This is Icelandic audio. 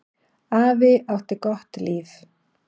Afi átti gott líf.